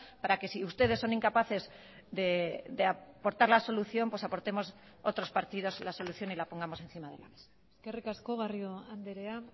para que si ustedes son incapaces de aportar la solución pues aportemos otros partidos la solución y la pongamos encima de la mesa eskerrik asko garrido andrea